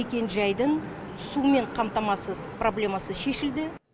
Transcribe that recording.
мекенжайдың сумен қамтамасыз проблемасы шешілді